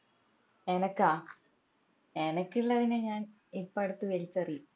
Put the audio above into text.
ആനക്കാ അനക്കിള്ളതിനെ ഞാൻ ഇപ്പൊ അടുത്ത് വലിച്ചെറിയും